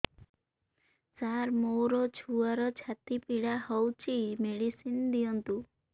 ସାର ମୋର ଛୁଆର ଛାତି ପୀଡା ହଉଚି ମେଡିସିନ ଦିଅନ୍ତୁ